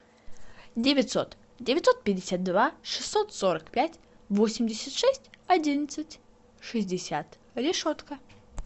девятьсот девятьсот пятьдесят два шестьсот сорок пять восемьдесят шесть одиннадцать шестьдесят решетка